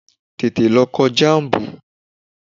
Tètè lọ kọ jám̀bù!